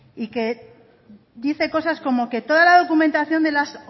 y que dice cosas como que toda la documentación de las